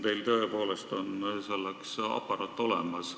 Teil on selleks tõepoolest aparaat olemas.